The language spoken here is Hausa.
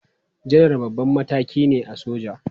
Janar babban mataki ne a soja.